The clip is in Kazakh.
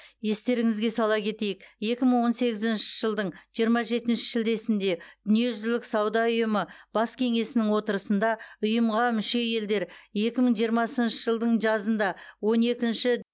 естеріңізге сала кетейік екі мың он сегізінші жылдың жиырма жетінші шілдесінде дүниежүзілік сауда ұйымы бас кеңесінің отырысында ұйымға мүше елдер екі мың жиырмасыншы жылдың жазында он екінші